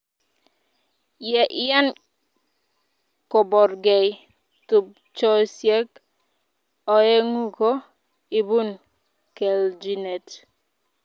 ye iyai kobargei tupchosiek oeng'u ko ibun keljinet